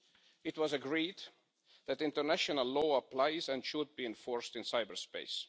It was agreed that international law applies and should be enforced in cyberspace.